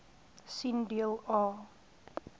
sien deel a